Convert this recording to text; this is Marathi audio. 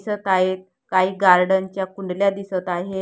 दिसत आहेत काही गार्डन च्या कुंडल्या दिसत आहे.